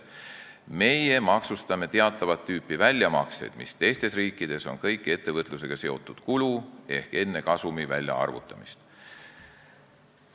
Meie maksustame teatavat tüüpi väljamakseid, mis teistes riikides on kõik ettevõtlusega seotud kulu, ehk see toimub enne kasumi väljaarvutamist.